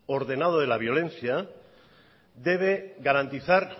ordenado de la violencia debe garantizar